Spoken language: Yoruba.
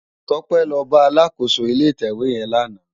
Tope lò bá àlákósó ilé itèwé yèn làná